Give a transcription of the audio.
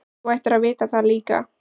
Þú ættir að vita það líka.